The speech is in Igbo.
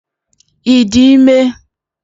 Ị dị ime?